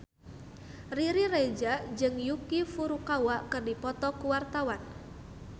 Riri Reza jeung Yuki Furukawa keur dipoto ku wartawan